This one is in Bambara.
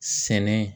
Sɛnɛ